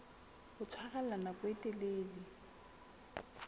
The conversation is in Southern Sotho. ho tshwarella nako e telele